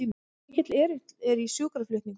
Mikill erill í sjúkraflutningum